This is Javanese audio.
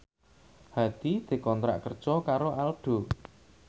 Hadi dikontrak kerja karo Aldo